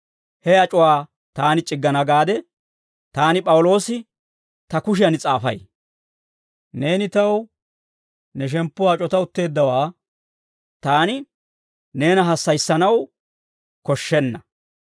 He ac'uwaa taani c'iggana gaade, taani P'awuloosi ta kushiyan s'aafay. Neeni taw ne shemppuwaa ac'ota utteeddawaa taani neena hassayissanaw koshshenna.